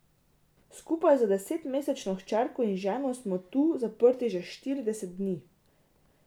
Skupaj z desetmesečno hčerko in ženo smo tu zaprti že štirideset dni.